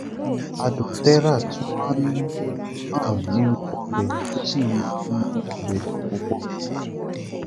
adùn terrat tún máa ń hàn nínú ọbẹ tó sì máa ń mú ọbẹ dùn púpọ